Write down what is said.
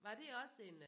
Var det også en øh